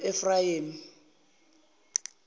noefrayemi